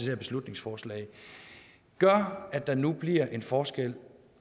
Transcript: her beslutningsforslag gør at der nu bliver en forskel